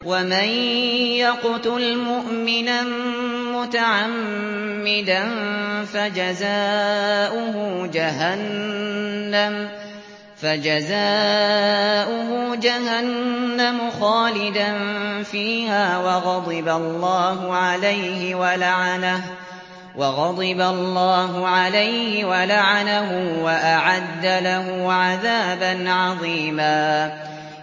وَمَن يَقْتُلْ مُؤْمِنًا مُّتَعَمِّدًا فَجَزَاؤُهُ جَهَنَّمُ خَالِدًا فِيهَا وَغَضِبَ اللَّهُ عَلَيْهِ وَلَعَنَهُ وَأَعَدَّ لَهُ عَذَابًا عَظِيمًا